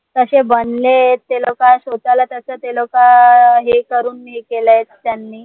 कशे बनले ते लोक स्वतःला त्याच ते लोक अं हे करून केलाय त्यांनी